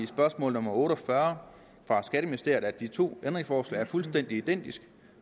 spørgsmål nummer otte og fyrre fra skatteministeriet at de to ændringsforslag er fuldstændig identiske